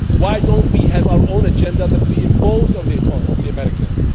Why do we not have our own agenda that we impose on the Americans?